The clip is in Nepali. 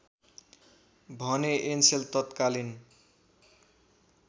भने एनसेल तत्कालीन